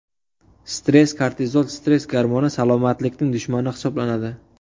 Stress Kortizol stress gormoni salomatlikning dushmani hisoblanadi.